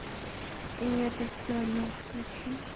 и это все о нем включи